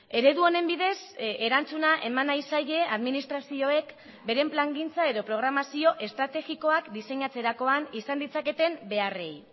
eredu honen bidez erantzuna eman nahi zaie administrazioek beren plangintza edo programazio estrategikoak diseinatzerakoan izan ditzaketen beharrei